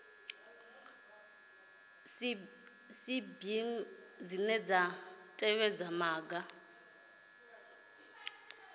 cbnrm dzine dza tevhedza maga